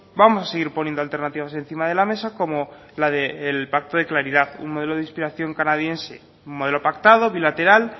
vamos a seguir poniendo alternativas encima de la mesa como la del pacto de claridad un modelo de inspiración canadiense un modelo pactado bilateral